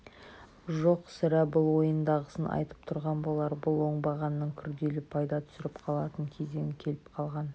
жоқ сірә бұл ойындағысын айтып тұрған болар бұл оңбағанның күрделі пайда түсіріп қалатын кезеңі келіп қалған